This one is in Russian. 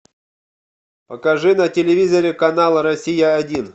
покажи на телевизоре канал россия один